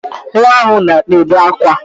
Nwa ahụ na-ebe akwa